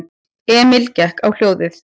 Emil gekk á hljóðið.